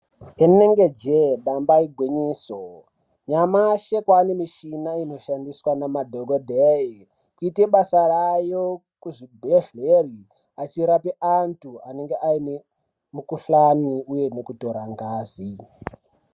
Inenge jee damba igwinyiso nyamashi kwane mishina inoshandiswa nemadhogodheya kuite basa rayo kuzvibhedhleri achirapa antu anenge aine mukuhlani uye nekutora ngazi.